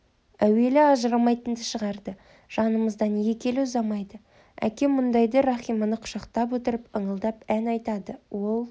әуелі ажырамайтынды шығарды жанымыздан екі елі ұзамайды әкем мұндайда рахиманы құшақтап отырып ыңылдап ән айтады ол